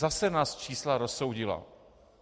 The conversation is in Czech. Zase nás čísla rozsoudila.